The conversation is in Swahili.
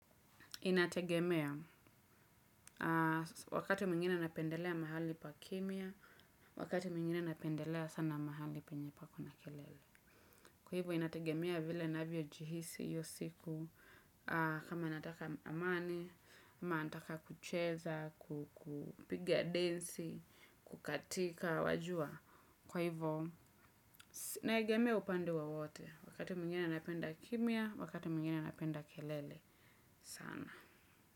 Inategemea wakati mwingine napendelea mahali pakimya, wakati mwingine napendelea sana mahali penye pako na kelele. Kwa hivyo inategemea vile navyojihisi hiyo siku kama nataka amani, ama nataka kucheza, kupigia densi, kukatika, wajua. Kwa hivyo, naegemea upande wowote wakati mwingine napenda kimia, wakati mwingine napenda kelele sana.